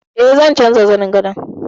E, zan canja zanin gadon.